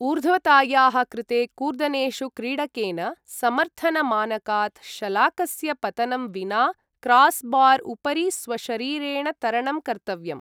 ऊर्ध्वतायाः कृते कूर्दनेषु क्रीडकेन समर्थनमानकात् शलाकस्य पतनं विना क्रासबार् उपरि स्वशरीरेण तरणं कर्तव्यम्।